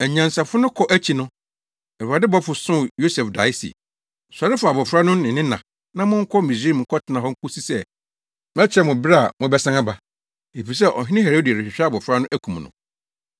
Anyansafo no kɔ akyi no, Awurade bɔfo soo Yosef dae se, “Sɔre fa abofra no ne ne na na monkɔ Misraim nkɔtena hɔ nkosi sɛ mɛkyerɛ mo bere a mobɛsan aba. Efisɛ Ɔhene Herode rehwehwɛ abofra no akum no.”